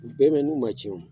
U bɛ mɛn n'u ma cɛn